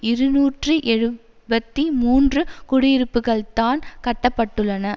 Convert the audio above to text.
இருநூற்றி எழுபத்தி மூன்று குடியிருப்புகள்தான் கட்ட பட்டுள்ளன